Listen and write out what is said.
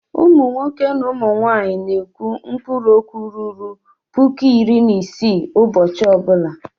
Ụmụ nwoke na ụmụ nwaanyị na-ekwu mkpụrụ okwu ruru puku iri na isii ụbọchị ọ bụla.